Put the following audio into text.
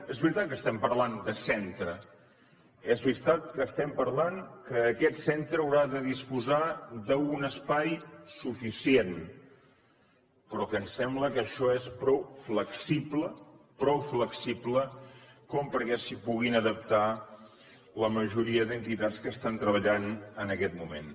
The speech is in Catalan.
és veritat que estem parlant de centre és veritat que estem parlant que aquest centre haurà de disposar d’un espai suficient però em sembla que això és prou flexible prou flexible perquè s’hi puguin adaptar la majoria d’entitats que estan treballant en aquest moment